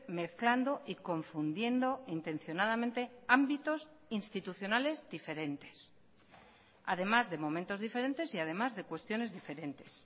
mezclando y confundiendo intencionadamente ámbitos institucionales diferentes además de momentos diferentes y además de cuestiones diferentes